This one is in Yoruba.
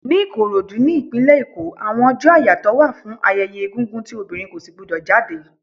Ni Ìkòròdú, ní ìpínlè Èkó, àwọn ọjọ́ àyàtọ̀ wà fún ayẹyẹ egúngún tí obìnrin kò si gbu dò jáde.